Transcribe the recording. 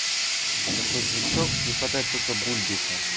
такой звучок не хватает только бульбика